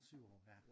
7 år ja